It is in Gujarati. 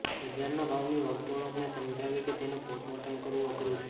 બજારના ભાવની વર્તણૂકને સમજાવવી કે તેનું પોસ્ટમોર્ટમ કરવું અઘરું છે